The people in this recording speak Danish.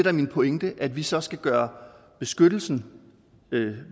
er min pointe at vi så skal gøre beskyttelsen